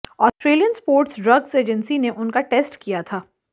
Australian sports drugs agency ने उनका test किया था